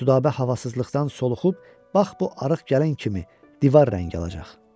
Südabə havasızlıqdan soluxub bax bu arıq gəlin kimi divar rəngi alacaq.